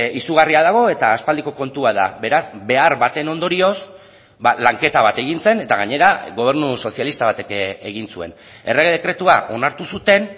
izugarria dago eta aspaldiko kontua da beraz behar baten ondorioz lanketa bat egin zen eta gainera gobernu sozialista batek egin zuen errege dekretua onartu zuten